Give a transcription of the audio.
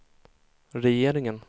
regeringen